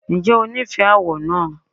Ǹjẹ́ o nífẹ̀ẹ́ àwọ̀ náà?